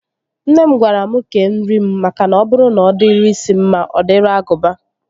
Nne m gwara mụ kee nri m makana ọ bụrụ na ọ dịrị isi mma, ọ dịrị agụba